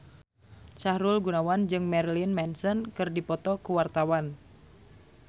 Sahrul Gunawan jeung Marilyn Manson keur dipoto ku wartawan